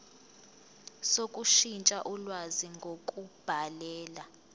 sokushintsha ulwazi ngokubhalela